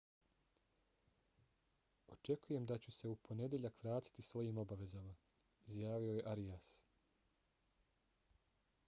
očekujem da ću se u ponedjeljak vratiti svojim obavezama izjavio je arias